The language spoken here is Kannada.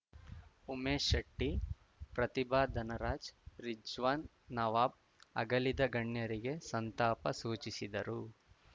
ಉಮೇಶ್‌ ಶೆಟ್ಟಿ ಪ್ರತಿಭಾ ಧನರಾಜ್‌ ರಿಜ್ವಾನ್‌ ನವಾಬ್‌ ಅಗಲಿದ ಗಣ್ಯರಿಗೆ ಸಂತಾಪ ಸೂಚಿಸಿದರು